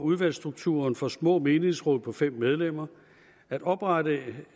udvalgsstrukturen for små menighedsråd på fem medlemmer at oprettelse